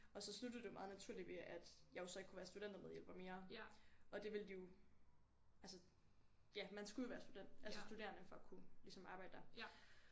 Og så sluttede det jo meget naturligt ved at jeg jo så ikke kunne være studentermedhjælper mere og det ville de jo altså ja man skulle jo være student altså studerende for at kunne ligesom arbejde der